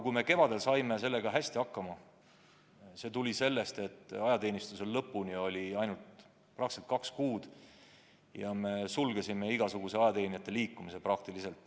Kui me kevadel saime sellega hästi hakkama, siis tuli see sellest, et ajateenistuse lõpuni oli ainult kaks kuud ja me sulgesime igasuguse ajateenijate liikumise.